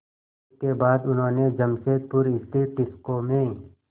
इसके बाद उन्होंने जमशेदपुर स्थित टिस्को में